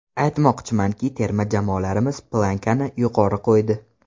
Aytmoqchimanki, terma jamoalarimiz «planka»ni yuqori qo‘ydi.